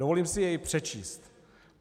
Dovolím si jej přečíst.